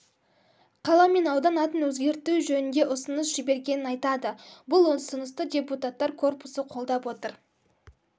қала мен аудан атын өзгерту жөнінде ұсыныс жібергенін айтады бұл ұсынысты депутаттар корпусы қолдап отыр